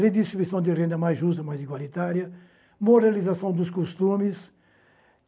Redistribuição de renda mais justa, mais igualitária, moralização dos costumes.